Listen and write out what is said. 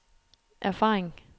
erfaring